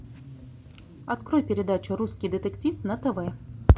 открой передачу русский детектив на тв